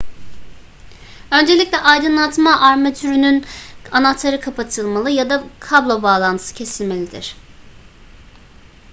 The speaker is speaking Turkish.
öncelikle aydınlatma armatürünün anahtarı kapatılmalı ya da kablo bağlantısı kesilmelidir